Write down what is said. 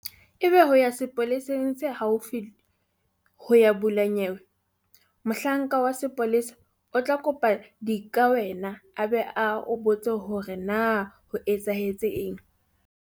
Ebe o ya sepoleseng se haufi ho ya bula nyewe. Mohlanka wa sepolesa o tla o kopa dikawena a be a o botse hore na ho etsahetseng.